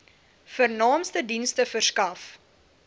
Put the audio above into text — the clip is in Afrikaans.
vernaamste dienste verskaf